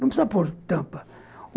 Não precisa pôr tampa.